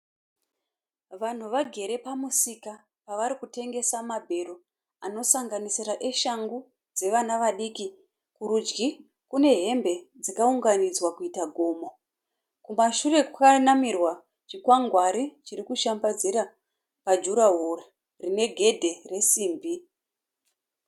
Vanhu vagere pamusika pavari kutengesa mabhero anosanganisira eshangu dzevana vadiki. Kurudyi kune hembe dzakaunganidzwa kuita gomo. Kumashure kwakanamirwa chikwagwari chiri kushambadzira pajurahoro rine gedhe resimbi.